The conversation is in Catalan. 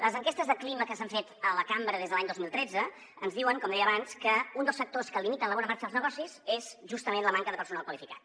les enquestes de clima que s’han fet a la cambra des de l’any dos mil tretze ens diuen com deia abans que un dels factors que limiten la bona marxa dels negocis és justament la manca de personal qualificat